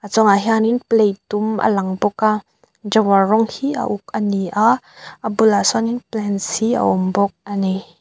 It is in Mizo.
a chungah hianin plate dum alang bawk a drower rawng hi a uk a ni a a bulah sawnin plants hi a awm bawk a ni.